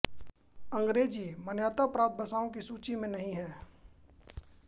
अंग्रेजी मान्यता प्राप्त भाषाओं की सूची में नहीं है